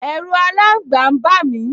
Ẹ̀ru aláǹgba n bà mí